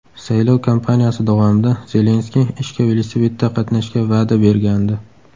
Saylov kampaniyasi davomida Zelenskiy ishga velosipedda qatnashga va’da bergandi.